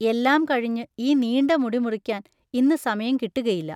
എല്ലാം കഴിഞ്ഞ് ഈ നീണ്ട മുടി മുറിക്കാൻ ഇന്ന് സമയം കിട്ടുകയില്ല.